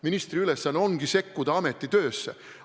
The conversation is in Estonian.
Ministri ülesanne ongi sekkuda ameti töösse.